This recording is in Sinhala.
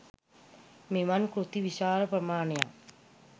මෙවන් කෘති විශාල ප්‍රමාණයක්